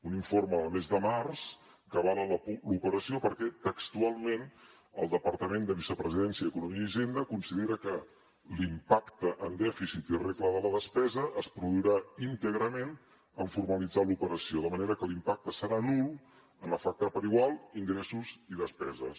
un informe del mes de març que avala l’operació perquè textualment el departament de vicepresidència i d’economia i hisenda considera que l’impacte en dèficit i regla de la despesa es produirà íntegrament en formalitzar l’operació de manera que l’impacte serà nul en afectar per igual ingressos i despeses